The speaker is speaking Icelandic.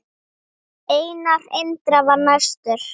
Einar Indra var næstur.